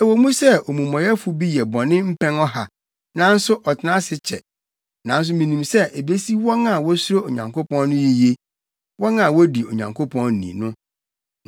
Ɛwɔ mu sɛ omumɔyɛfo bi yɛ bɔne mpɛn ɔha nanso ɔtena ase kyɛ, nanso minim sɛ ebesi wɔn a wosuro Onyankopɔn no yiye, wɔn a wodi Onyankopɔn ni no.